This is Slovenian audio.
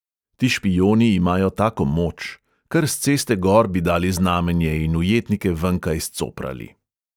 Ti špijoni imajo tako moč ... kar s ceste gor bi dali znamenje in ujetnike venkaj scoprali. ...